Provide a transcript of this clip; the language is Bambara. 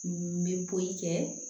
N bɛ bɔli kɛ